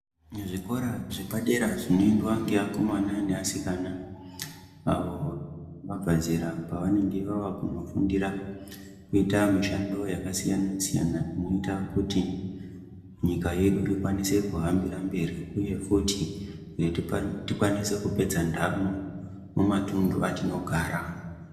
Muzvikora zvepadera zvinoendwa neakomana neasikana avo vabva zera pavanenge vavakunofundira kuita mishando yakasiyana siyana inoita kuti nyika yedu ikwanise kuhambira mberi uye futi kuti tikwanise kupedza ndamo mumatundu atinogara.